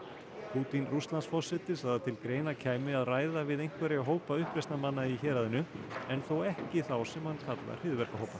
Pútín Rússlandsforseti sagði að til greina kæmi að ræða við einhverja hópa uppreisnarmanna í héraðinu en þó ekki þá sem hann kallar hryðjuverkahópa